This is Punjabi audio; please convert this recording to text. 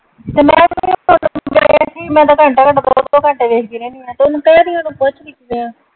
ਤੇ ਮੈਂ ਤਾਂ . ਮੈਂ ਤਾਂ ਘੰਟਾ ਘੰਟਾ ਦੋ ਦੋ ਘੰਟੇ ਵੇਖ ਦੀ ਰਹਿਨੀ ਆਂ ਤੇ ਉਹਨੂੰ ਕਹਿ ਦਈਂ ਉਹਨੂੰ .